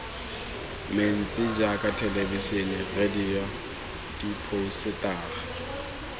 mentsi jaaka thelebisene radio diphousetara